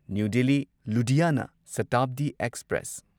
new Delhi Ludhiana Shatabdi express